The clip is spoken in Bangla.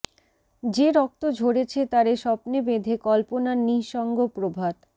যে রক্ত ঝরেছে তারে স্বপ্নে বেঁধে কল্পনার নিঃসঙ্গ প্রভাত